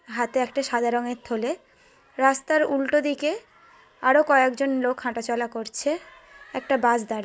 হাতে একটা সাদা রঙের থলে। রাস্তার উল্টো দিকে আরো কয়েকজন লোক হাঁটা চলা করছে। একটা বাস দাঁড়ি--